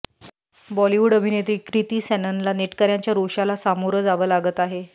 बॉलिवूड अभिनेत्री क्रिती सॅननला नेटकऱ्यांच्या रोषाला सामोरं जावं लागत आहे